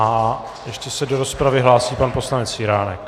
A ještě se do rozpravy hlásí pan poslanec Jiránek.